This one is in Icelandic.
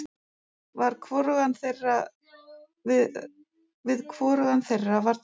Við hvorugan þeirra var talað.